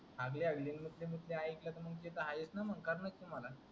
हागले हागले मुतले मुतले एकल तर मग ते तर आहेच न मग करण तुम्हाला.